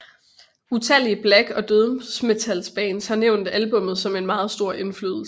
Utallige black og dødsmetalbands har nævnt albummet som en meget stor indflydelse